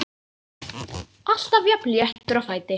Alltaf jafn léttur á fæti.